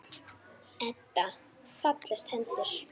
Eddu fallast hendur.